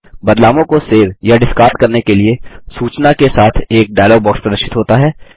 बदलावों को सेव या डिस्कार्ड करने के लिए सूचना के साथ एक डायलॉग बॉक्स प्रदर्शित होता है